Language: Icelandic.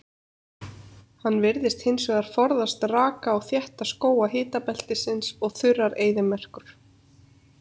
Hann virðist hins vegar forðast raka og þétta skóga hitabeltisins og þurrar eyðimerkur.